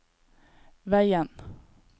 veien